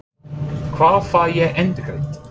Hvar fæ ég endurgreitt?